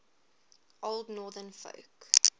old northern folk